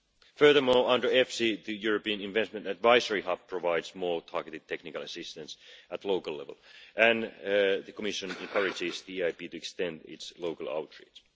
Furthermore, under the EFSI, the European Investment Advisory Hub provides more targeted technical assistance at local level and the Commission encourages the EIB to extend its local outreach.